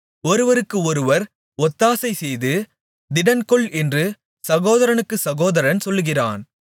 ஒருவருக்கு ஒருவர் ஒத்தாசைசெய்து திடன்கொள் என்று சகோதரனுக்குச் சகோதரன் சொல்கிறான்